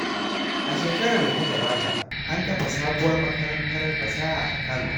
A shekarar da ta gabata, an kafa sabuwar makarantar fasaha a Kano.